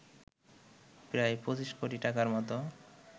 প্রায় ২৫ কোটি টাকার মত